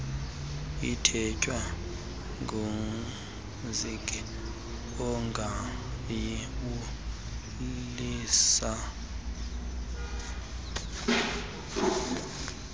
ithethwa ngumhinki ungayibulisa